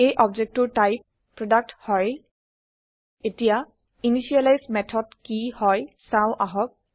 এই objectটোৰ টাইপ160 প্ৰডাক্ট হয় এতিয়া initializeইনিচিয়েলাইজ মেথড কি হয় চাওঁ আহক